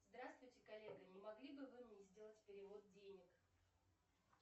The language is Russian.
здравствуйте коллега не могли бы вы мне сделать перевод денег